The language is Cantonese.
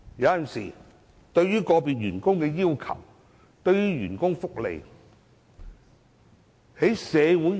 有時候，對於個別員工的要求，以至員工福利......